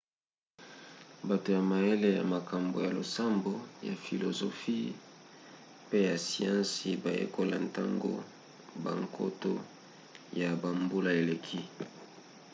bato ya mayele ya makambo ya losambo ya filozofi pe ya siansi bayekola ntango bankoto ya bambula eleki